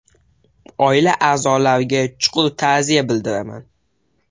Oila a’zolariga chuqur ta’ziya bildiraman”.